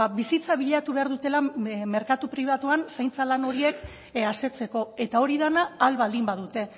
bizitza bilatu behar dutela merkatu pribatuan zaintza lan horiek asetzeko eta hori dena ahal baldin badute